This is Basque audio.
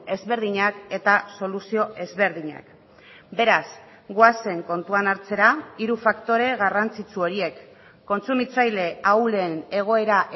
ezberdinak eta soluzio ezberdinak beraz goazen kontuan hartzera hiru faktore garrantzitsu horiek kontsumitzaile ahulen egoera